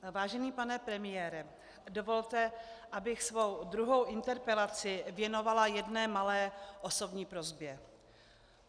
Vážený pane premiére, dovolte, abych svou druhou interpelaci věnovala jedné malé osobní prosbě.